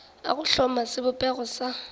a go hloma sebopego sa